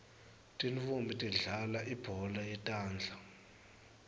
tintfonmbi tidlalal ibhola yetandla